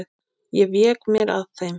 Ég vék mér að þeim.